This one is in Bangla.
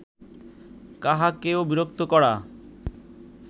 কাহাকেও বিরক্ত করা